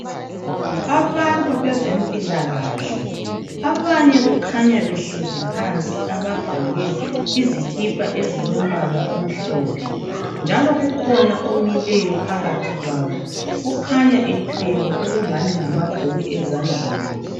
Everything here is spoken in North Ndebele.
Abantu abezempilakahle abanye kukhanya behlezi phansi abagqoke izikipa ezilombala omhlophe njalo kukhona omileyo phakathi kwabo okhanya ethwele okungani ngamabhuku ezandleni.